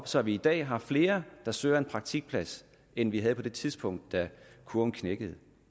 så vi i dag har flere der søger en praktikplads end vi havde på det tidspunkt da kurven knækkede